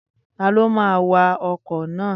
Taló máa wa ọkọ̀ náà?